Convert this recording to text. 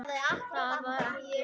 Það var ekki.